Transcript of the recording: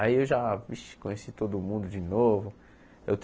Aí eu já vixe conheci todo mundo de novo. Eu